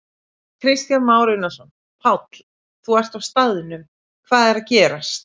Kristján Már Unnarsson: Páll, þú ert á staðnum, hvað er að gerast?